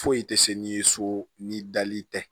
Foyi tɛ se n'i ye so ni dali tɛ